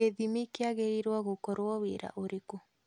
Gĩthimi kĩagĩrĩrwo gũkorwo wĩra ũrĩkũ?